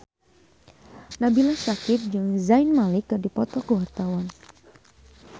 Nabila Syakieb jeung Zayn Malik keur dipoto ku wartawan